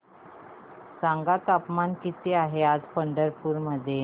सांगा तापमान किती आहे आज पंढरपूर मध्ये